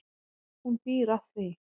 Hún býr að því.